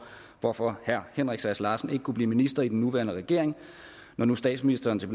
hvorfor herre henrik sass larsen ikke kunne blive minister i den nuværende regering når nu statsministeren til